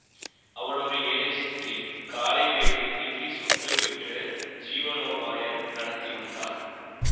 அவள் ஒரு ஏழை ஸ்தீரீ காலை வேளையில் இட்லி சுட்டு விற்று ஜீவனோபாயம் நடத்திவந்தாள்